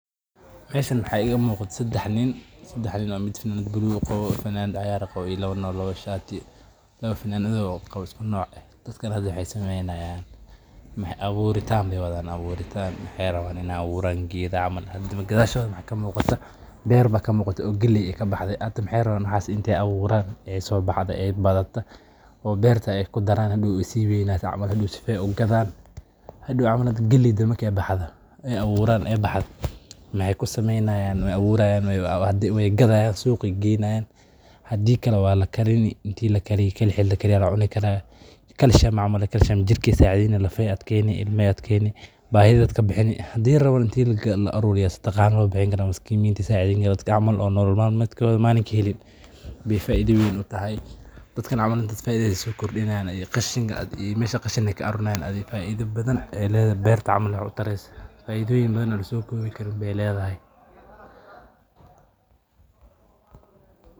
Waxa iga muuqda saddex nin oo mid qabo funaanad cagaar ah, iyo labo kale oo funaanado isku nooc ah xiran. Waxay wadaan abuuritaan geed, si ay u gadaan. Waxa ka muuqda beer galeen, waxay rabaan inay abuurtaan oo ay soo baxdo, badato, beerta ku darsamaan, si weynato oo markay soo baxdo ay u gadaan. Waa la karin karaa, waa la cuni karaa. (Calcium) ayuu jirka ka caawiyaa, lafaha ayuu adkeeyaa, ilmahana wuu adkeeyaa, baahi ayuu ka bixinaa. Ama si saqado ahaan loogu bixiyo dadka aan nolol maalmeed helin. Meesha qashinka laga ururiyo faa’iido badan buu leeyahay.